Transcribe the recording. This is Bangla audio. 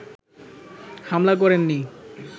হামলা করেননি